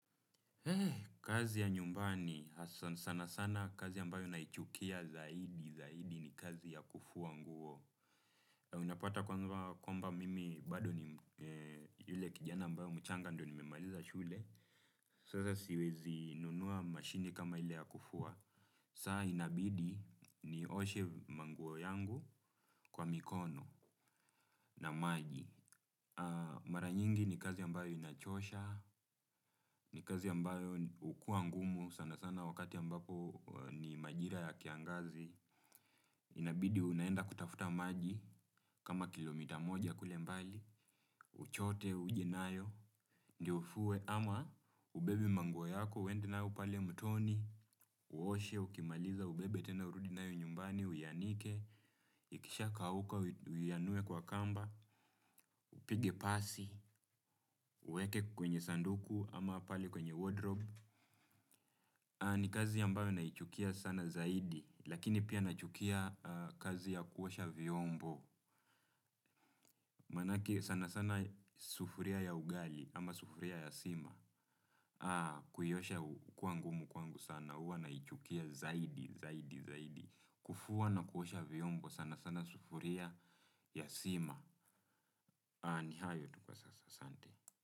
Kazi ya nyumbani sana sana kazi ambayo naichukia zaidi zaidi ni kazi ya kufua nguo. Unapata kwamba mimi bado ni yule kijana ambayo mchanga ndio nimemaliza shule. Sasa siwezi nunua mashini kama ile ya kufuwa. Saa inabidi nioshe manguo yangu kwa mikono na maji. Mara nyingi ni kazi ambayo inachosha. Ni kazi ambayo hukua ngumu sana sana wakati ya ambapo ni majira ya kiangazi. Inabidi unaenda kutafuta maji kama kilomita moja kule mbali. Uchote, uje nayo, ndio ufue ama ubebe manguo yako, uende nayo pale mtoni, uoshe, ukimaliza ubebe tena urudi nayo nyumbani, uianike, ikishakauka, uianue kwa kamba, upige pasi, uweke kwenye sanduku ama pale kwenye wardrobe. Ni kazi ambayo naichukia sana zaidi, lakini pia nachukia kazi ya kuosha vyombo, manake sana sana sufuria ya ugali ama sufuria ya sima, kuiosha kwangu huwa ngumu kwangu sana, huwa naichukia zaidi, zaidi, kufua na kuosha vyombo sana sana sufuria ya sima, ni hayo tu kwa sasa asante.